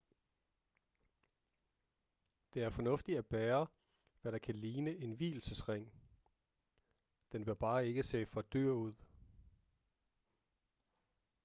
det er fornuftigt at bære hvad der kan ligne en vielsesring den bør bare ikke se for dyr ud